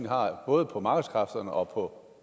har både på markedskræfterne og på